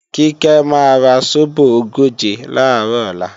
Kíkẹ́ máa ra sóbò ogóje làárọ̀ ọ̀la